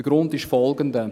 Der Grund ist folgender: